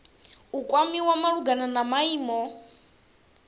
u kwamiwa malugana na maimo